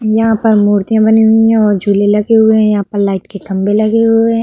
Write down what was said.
यहाँ पर मूर्तिया बनी हुई हैं और झूले लगे हुए हैं यहाँ पर लाईट के खंभे लगे हुए हैं।